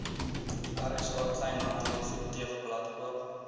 rsa kleinhandeleffektewebblad koop